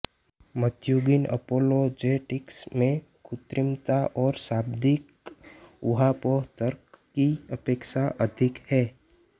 मध्युगीन apologetics में कृत्रिमता और शाब्दिक ऊहापोह तर्क की अपेक्षा अधिक हे